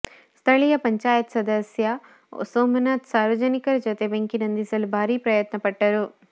ಸ್ಥಳೀಯ ಪಂಚಾಯತ್ ಸದಸ್ಯ ಸೋಮನಾಥ್ ಸಾರ್ವಜನಿಕರ ಜತೆ ಬೆಂಕಿ ನಂದಿಸಲು ಭಾರೀ ಪ್ರಯತ್ನ ಪಟ್ಟರು